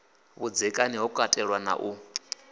vhudzekani ho katelwa na u